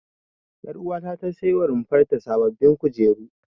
Ƴaruwata ta saiwa runfar ta sababbin kujeru.